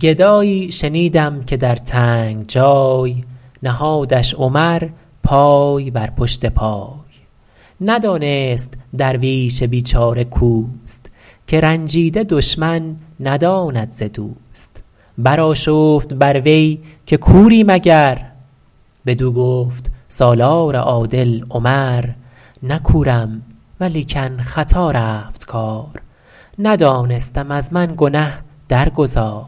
گدایی شنیدم که در تنگ جای نهادش عمر پای بر پشت پای ندانست درویش بیچاره کاوست که رنجیده دشمن نداند ز دوست برآشفت بر وی که کوری مگر بدو گفت سالار عادل عمر نه کورم ولیکن خطا رفت کار ندانستم از من گنه در گذار